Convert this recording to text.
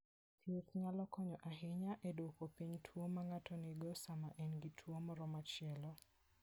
Thieth nyalo konyo ahinya e duoko piny tuwo ma ng'ato nigo sama en gi tuwo moro machielo.